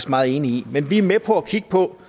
meget enige i men vi er med på at kigge på